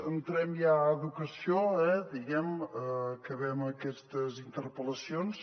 entrem ja a educació eh diguem ne acabem aquestes interpel·lacions